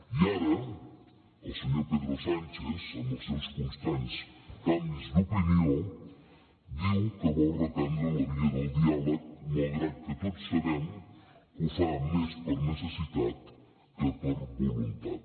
i ara el senyor pedro sánchez amb els seus constants canvis d’opinió diu que vol reprendre la via del diàleg malgrat que tots sabem que ho fa més per necessitat que per voluntat